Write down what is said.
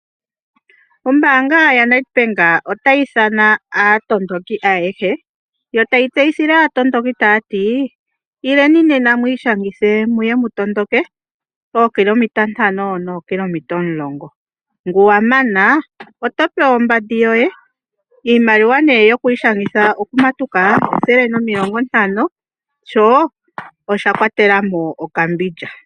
Ombaanga yaNetBank otayi ithana aatondoki ayehe yo tayi tseyithile aatondoki taati ileni nena mwiishangithe muye mutondoke eekilometa 5 nookilometa 10, ngu wamana oto pewa ombandi yoye. Iimaliwa nee yokwiishangitha okumatuka $150 sho oshakwatela mo okambilya.